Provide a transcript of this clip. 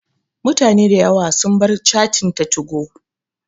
Mutane da yawa sun bar cattin ta 2go